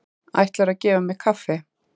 Ætlaðirðu að gefa mér kaffi?